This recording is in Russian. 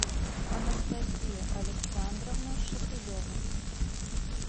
анастасия александровна шепелева